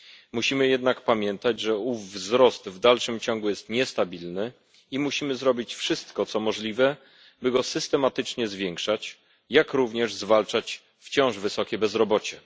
Musimy jednak pamiętać, że ów wzrost w dalszym ciągu jest niestabilny i musimy zrobić wszystko, co możliwe, by go systematycznie zwiększać, jak również zwalczać wciąż wysokie bezrobocie.